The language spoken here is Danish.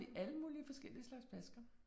Det alle mulige forskellige slags flasker